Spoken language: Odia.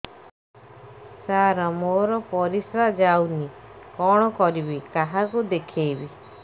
ସାର ମୋର ପରିସ୍ରା ଯାଉନି କଣ କରିବି କାହାକୁ ଦେଖେଇବି